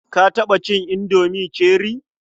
Ka taɓa cin indomi cherie?